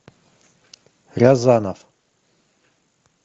рязанов